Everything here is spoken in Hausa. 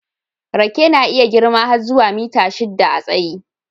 Rake na iya girma har zuwa mita shidda a tsayi.